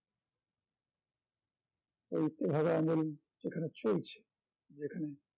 ওই তেভাগা আন্দোলন যেখানে চলছে যেখানে